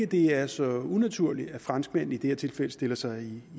det er så unaturligt at franskmændene i det her tilfælde stiller sig